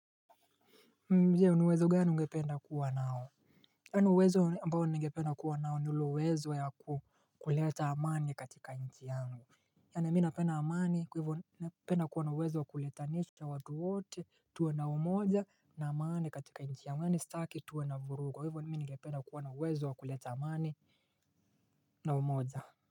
Je niuwezo gani ungependa kuwa nao. Anuwezo ambao ningependa kuwa nao ni ule uwezo ya kuleta amani katika nchi yangu. Yana mi napena amani kwa hivyo ningependa kuwa nauwezo wa kuleta nchi. Watuwote tuwe na umoja na amani katika nchi yangu yaani staki tuwe na vurugu kwa hivyo mimi ningependa kuwa nauwezo wa kuleta amani na umoja.